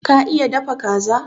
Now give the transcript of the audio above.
Ka iya dafa Kaza?